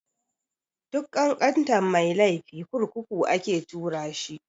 Duk ƙanƙantan mai laifi kurkuku ake tura shi.